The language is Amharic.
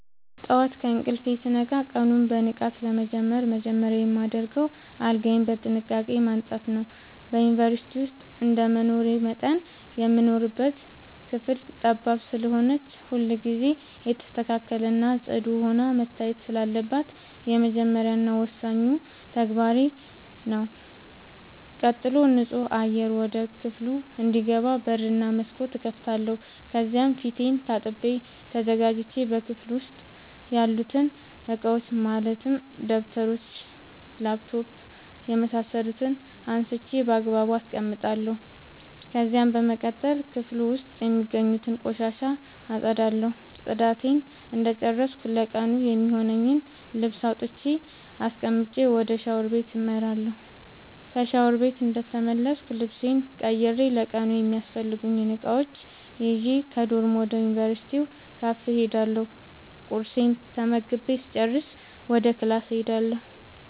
ጠዋት ከእንቅልፌ ስነቃ ቀኑን በንቃት ለመጀመር መጀመሪያ የማደርገው አልጋዬን በጥንቃቄ ማንጠፍ ነዉ። በዩንቨርስቲ ዉስጥ እንደመኖሬ መጠን የምንኖርባት ክፍል ጠባብ ስለሆነች ሁልጊዜ የተስተካከለ እና ፅዱ ሆና መታየት ስላለባት የመጀመሪያ እና ወሳኙ ተግባሬ ተግባሬ ነዉ። ቀጥሎም ንፁህ አየር ወደ ክፍሉ እንዲገባ በር እና መስኮት እከፍታለሁ ከዚያም ፊቴን ታጥቤ ተዘጋጅቼ በክፍሉ ዉስጥ ያሉትን እቃዎች ማለትም ደብተሮች: ላፕቶፕ የምሳሰሉትን አንስቼ ባግባቡ አስቀምጣለሁ። ከዚያም በመቀጠል ክፍሉ ዉስጥ የሚገኙትን ቆሻሻ አፀዳለሁ ፅዳቴን እንደጨረስኩ ለቀኑ የሚሆነኝን ልብስ አውጥቼ አስቀምጬ ወደ ሻወር ቤት አመራለሁ። ከሻወር ቤት እንደተመለስኩ ልብሴን ቀይሬ ለቀኑ የሚያስፈልጉኝን እቃዎች ይዤ ከዶርም ወደ ዩንቨርስቲው ካፌ እሄዳለሁ ቁርሴን ተመግቤ ስጨርስ ወደ ክላስ እሄዳለሁ።